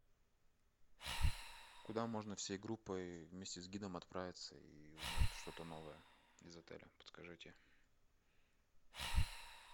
куда можно всей группой вместе с гидом отправиться и узнать что то новое из отеля подскажите